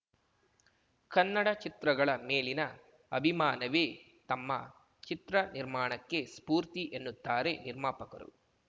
ಕನ್ನಡ ಚಿತ್ರಗಳ ಮೇಲಿನ ಅಭಿಮಾನವೇ ತಮ್ಮ ಚಿತ್ರ ನಿರ್ಮಾಣಕ್ಕೆ ಸ್ಫೂರ್ತಿ ಎನ್ನುತ್ತಾರೆ ನಿರ್ಮಾಪಕರು